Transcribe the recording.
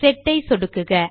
set ஐ சொடுக்குக